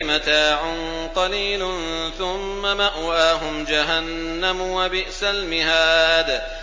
مَتَاعٌ قَلِيلٌ ثُمَّ مَأْوَاهُمْ جَهَنَّمُ ۚ وَبِئْسَ الْمِهَادُ